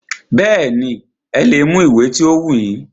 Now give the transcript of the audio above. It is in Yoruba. Bẹ́ẹ̀nì, ẹ lè mú ìwé ti o wù yín.